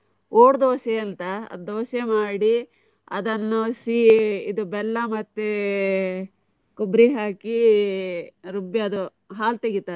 ಓಡ್ ದೋಸೆ ಅಂತ, ದೋಸೆ ಮಾಡಿ ಅದನ್ನು ಸೀ ಇದು ಬೆಲ್ಲ ಮತ್ತೆ ಕೊಬ್ಬರಿ ಹಾಕಿ ರುಬ್ಬಿ ಅದು ಹಾಲ್ ತೆಗಿತಾರೆ.